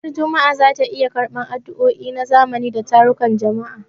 Ranar Juma'a za ta iya karɓar addu'o'i na zamani da tarukan jama'a.